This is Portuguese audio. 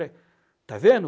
Está vendo?